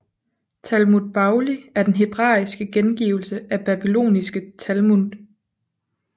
Talmud Bavli er den hebraiske gengivelse af babylonske Talmud